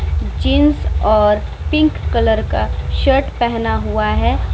Jeans और pink colour का shirt पहना हुआ है ।